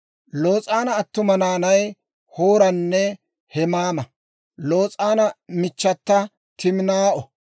Los'aana attuma naanay Hooranne Heemaama; Los'aana michchata Timinaa'o.